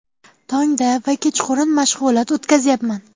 Tongda va kechqurun mashg‘ulot o‘tkazyapman.